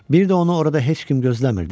Bir də onu orada heç kim gözləmirdi.